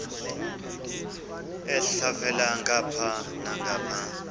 elhavela ngapha nangapha